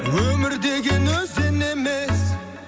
өмір деген өзен емес